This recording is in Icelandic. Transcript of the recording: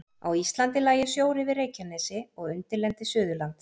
Á Íslandi lægi sjór yfir Reykjanesi og undirlendi Suðurlands.